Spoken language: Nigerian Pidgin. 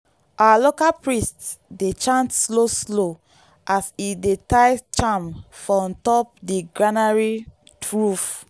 our local priest dey chant slow slow as e dey tie charm for on top the granary roof.